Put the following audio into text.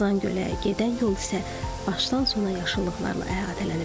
Qazan Gölə gedən yol isə başdan sona yaşıllıqlarla əhatələnib.